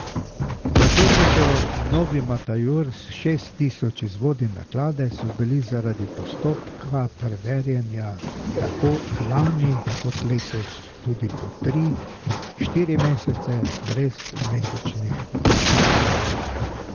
V tedniku Novi Matajur s šest tisoč izvodi naklade so bili zaradi postopka preverjanja tako lani kot letos tudi po tri, štiri mesece brez mesečnih dohodkov.